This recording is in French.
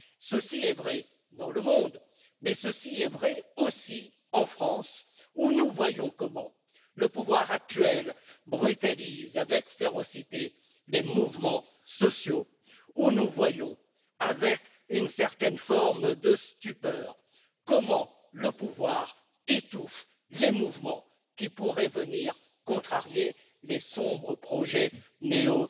Cela est vrai dans le monde, mais c'est vrai aussi en France où nous voyons comment le pouvoir actuel brutalise avec férocité des mouvements sociaux et où nous voyons avec une certaine forme de stupeur comment le pouvoir étouffe les mouvements qui pourraient venir contrarier les sombres projet néo